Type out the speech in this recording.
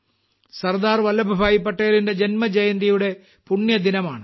സർദാർ വല്ലഭ്ഭായി പട്ടേലിന്റെ ജന്മജയന്തിയുടെ പുണ്യദിനമാണ്